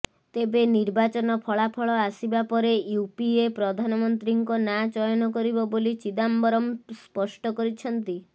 ତେବେ ନିର୍ବାଚନ ଫଳାଫଳ ଆସବା ପରେ ୟୁପିଏ ପ୍ରଧାନମନ୍ତ୍ରୀଙ୍କ ନାଁ ଚୟନ କରିବ ବୋଲି ଚିଦାମ୍ବରମ ସ୍ପଷ୍ଟ କରିଛନ୍ତି